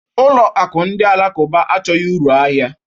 Ụlọ akụ ndị alakụba achọghị uru ahịa